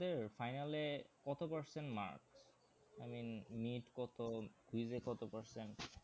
তোমাদের final এ কত percent mark I mean need কত quiz এ কত percent?